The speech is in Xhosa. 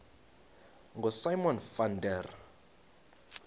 ngosimon van der